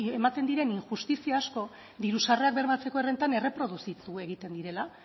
ematen diren injustizia asko diru sarrerak bermatzeko errentan erreproduzitu egiten direla